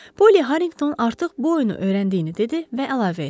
Poli Harriqton artıq bu oyunu öyrəndiyini dedi və əlavə etdi: